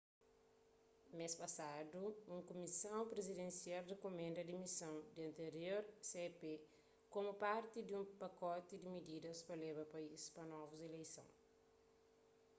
mês pasadu un kumison prizidensial rikumenda dimison di antirior cep komu parti di un pakoti di mididas pa leba país pa novus ileison